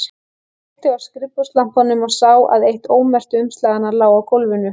Ég kveikti á skrifborðslampanum og sá að eitt ómerktu umslaganna lá á gólfinu.